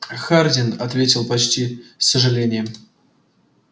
хардин ответил почти с сожалением